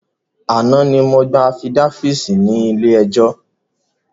Àná ni mo gbà afidáfíítì ní ilé ẹjọ́